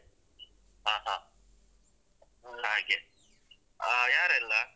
ಹಾ ಹಾ ಹಾಗೆ ಆ ಯಾರೆಲ್ಲ?